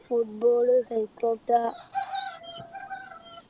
football